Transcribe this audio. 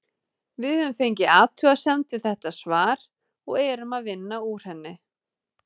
Við höfum fengið athugasemd við þetta svar og erum að vinna úr henni.